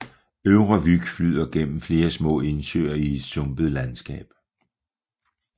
Øvre Vyg flyder gennem flere små indsøer i et sumpet landskab